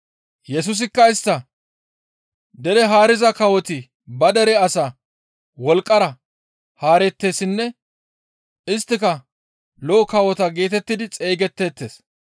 Yesusikka istta, «Dere haariza kawoti ba dere asaa wolqqara haareettessinne isttika lo7o kawota geetettidi xeygetteettes.